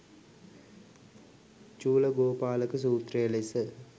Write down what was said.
චූලගෝපාලක සූත්‍රය ලෙස